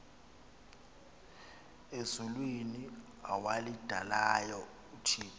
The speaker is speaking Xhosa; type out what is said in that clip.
ezulwini awalidalayo uthixo